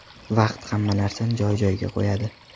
Vaqt hamma narsani joy-joyiga qo‘yadi.